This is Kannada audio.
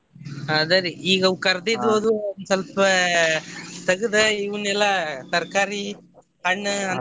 ಅದ ರಿ ಈಗ ಅವ್ ಕರ್ದಿದ್ದು ಅದು ಒಂದ್ ಸ್ವಲ್ಪ ತಗದ್ ಇವನೆಲ್ಲಾ ತರಕಾರಿ ಹಣ್ಣ ಅಂತಾವ.